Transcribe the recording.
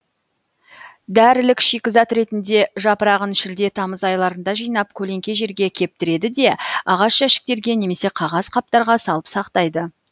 дәрілік шикізат ретінде жапырағын шілде тамыз айларында жинап көлеңке жерге кептіреді де ағаш жәшіктерге немесе қағаз қаптарға салып сақтайды